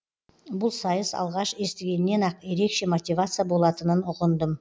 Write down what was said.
бұл сайыс алғаш естігеннен ақ ерекше мотивация болатынын ұғындым